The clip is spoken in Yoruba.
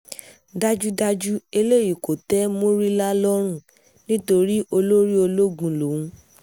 dájúdájú eléyìí kò tẹ́ murila lọ́rùn nítorí olórí ológun lòun